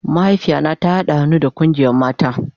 Mahaifiya na ta hada han'nu da kungiyan mata.